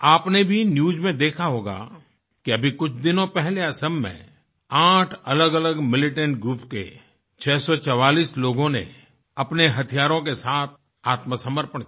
आपने भी न्यूज़ में देखा होगा कि अभी कुछ दिनों पहले असम में आठ अलगअलग मिलिटेंट ग्रुप के 644 लोगों ने अपने हथियारों के साथ आत्मसमर्पण किया